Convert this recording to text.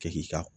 Kɛ k'i ka